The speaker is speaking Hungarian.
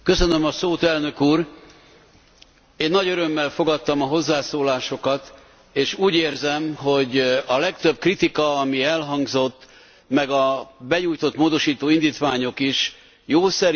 Én nagy örömmel fogadtam a hozzászólásokat, és úgy érzem, hogy a legtöbb kritika, ami elhangzott, meg a benyújtott módosító indítványok is jószerivel közös tőről fakadnak.